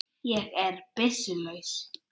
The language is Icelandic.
Ég er byssu laus.